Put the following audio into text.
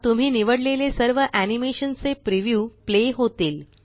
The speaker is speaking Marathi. तुम्ही निवडलेले सर्व एनीमेशन चे प्रीव्यू प्ले होतील